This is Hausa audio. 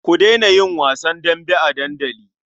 Ku daina yin wasan dambe a dandali.